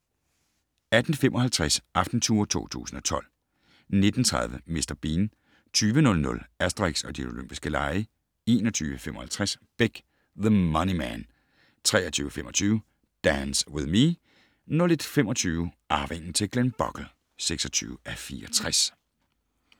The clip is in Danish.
18:55: Aftentour 2012 19:30: Mr. Bean 20:00: Asterix og De Olympiske Lege 21:55: Beck: The Money Man 23:25: Dance With Me 01:25: Arvingen til Glenbogle (26:64)